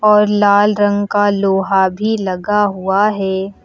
और लाल रंग का लोहा भी लगा हुआ है।